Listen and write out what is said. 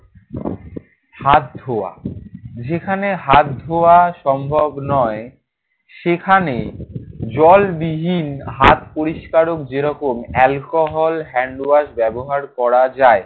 হাত ধোয়া। যেখানে হাত ধোয়া সম্ভব নয় সেখানে জলবিহীন হাত পরিষ্কারক যেরকম alcohol handwash ব্যবহার করা যায়।